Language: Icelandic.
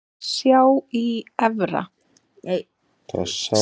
Sá í Efra.